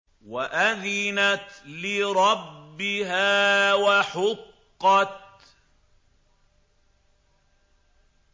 وَأَذِنَتْ لِرَبِّهَا وَحُقَّتْ